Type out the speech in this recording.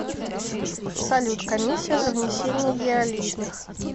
салют комиссия за внесение еаличных